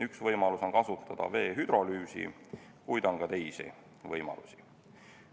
Üks võimalus on kasutada vee hüdrolüüsi, kuid on ka teisi võimalusi.